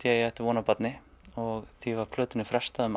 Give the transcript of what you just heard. ég ætti von á barni og því var plötunni frestað um